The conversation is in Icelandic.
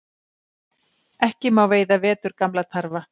Ekki má veiða veturgamla tarfa